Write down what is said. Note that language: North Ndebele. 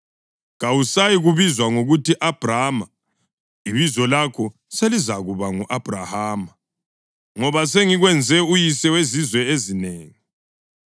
Kawusayi kubizwa ngokuthi Abhrama; ibizo lakho selizakuba ngu-Abhrahama, ngoba sengikwenze uyise wezizwe ezinengi.